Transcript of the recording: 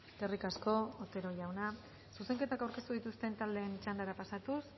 eskerrik asko otero jauna zuzenketak aurkeztu dituzten taldeen txandara pasatuz